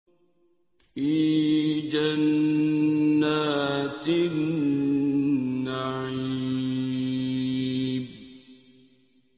فِي جَنَّاتِ النَّعِيمِ